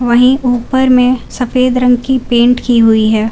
वहीं ऊपर में सफेद रंग की पेंट की हुई है।